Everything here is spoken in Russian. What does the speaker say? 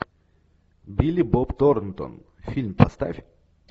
билли боб торнтон фильм поставь